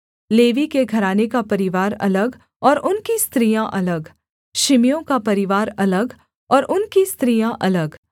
levy के घराने का परिवार अलग और उनकी स्त्रियाँ अलग शिमियों का परिवार अलग और उनकी स्त्रियाँ अलग